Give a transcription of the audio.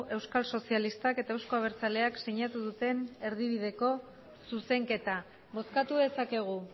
euskal sozialistak eta euzko abertzaleak sinatu duten erdibideko zuzenketa bozkatu dezakegu